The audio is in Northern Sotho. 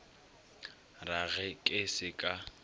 ra ge ke se ka